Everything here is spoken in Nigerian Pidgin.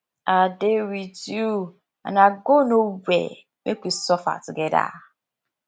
i dey with you and i go no where make we suffer together